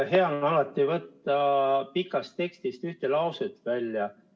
Hea on alati võtta pikast tekstist ühte lauset välja.